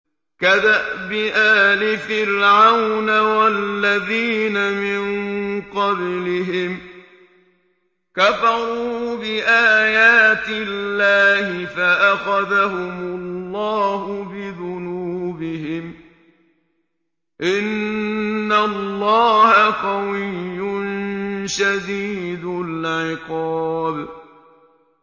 كَدَأْبِ آلِ فِرْعَوْنَ ۙ وَالَّذِينَ مِن قَبْلِهِمْ ۚ كَفَرُوا بِآيَاتِ اللَّهِ فَأَخَذَهُمُ اللَّهُ بِذُنُوبِهِمْ ۗ إِنَّ اللَّهَ قَوِيٌّ شَدِيدُ الْعِقَابِ